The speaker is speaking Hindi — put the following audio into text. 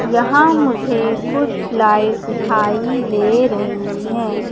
यहां मुझे कुछ लाइट दिखाई दे रही है।